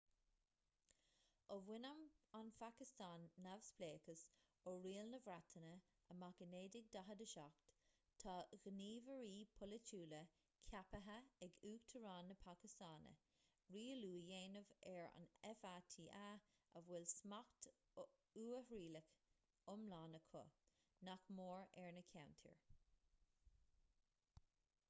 ó bhain an phacastáin neamhspleáchas ó riail na breataine amach i 1947 tá gníomhairí polaitiúla ceaptha ag uachtarán na pacastáine rialú a dhéanamh ar fata a bhfuil smacht uathrialach iomlán acu nach mór ar na ceantair